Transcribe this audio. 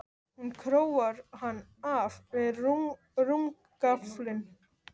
Hún króar hann af við rúmgaflinn.